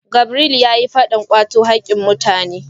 Gabriel yayi fadan kwato hakkin mutane